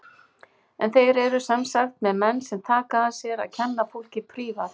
En þeir eru sem sagt með menn sem taka að sér að kenna fólki prívat.